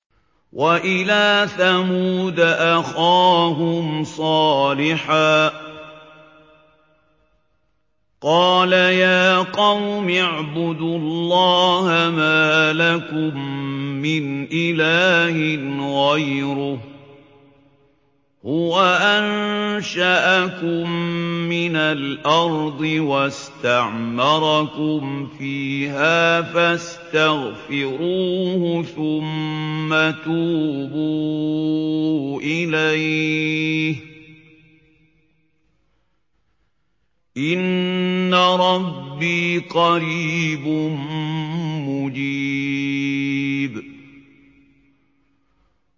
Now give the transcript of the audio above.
۞ وَإِلَىٰ ثَمُودَ أَخَاهُمْ صَالِحًا ۚ قَالَ يَا قَوْمِ اعْبُدُوا اللَّهَ مَا لَكُم مِّنْ إِلَٰهٍ غَيْرُهُ ۖ هُوَ أَنشَأَكُم مِّنَ الْأَرْضِ وَاسْتَعْمَرَكُمْ فِيهَا فَاسْتَغْفِرُوهُ ثُمَّ تُوبُوا إِلَيْهِ ۚ إِنَّ رَبِّي قَرِيبٌ مُّجِيبٌ